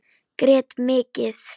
Grét mikið.